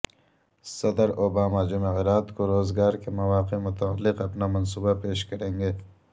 صدر اوباما جمعرات کو روزگار کے مواقع متعلق اپنا منصوبہ پیش کریں گے